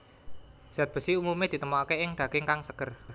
Zat besi umumé ditemokaké ing daging kang seger